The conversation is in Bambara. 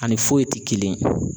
Ani foyi ti kelen yen.